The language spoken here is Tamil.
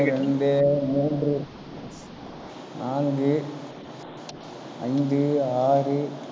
ஒன்று, இரண்டு, மூன்று நான்கு, ஐந்து, ஆறு,